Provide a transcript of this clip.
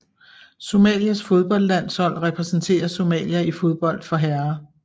Somalias fodboldlandshold repræsenterer Somalia i fodbold for herrer